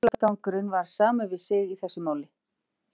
Fíflagangurinn var samur við sig í þessu máli.